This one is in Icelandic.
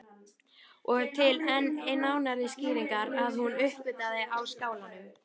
Og til enn nánari skýringar að hún uppvartaði á Skálanum.